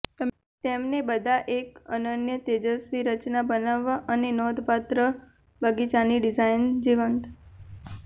તેમને બધા એક અનન્ય તેજસ્વી રચના બનાવવા અને નોંધપાત્ર બગીચાની ડિઝાઈન જીવંત